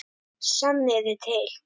Sanniði til